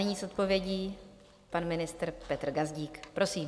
Nyní s odpovědí pan ministr Petr Gazdík, prosím.